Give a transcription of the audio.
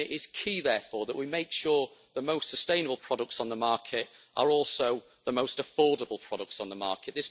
It is key therefore that we make sure the most sustainable products on the market are also the most affordable products on the market.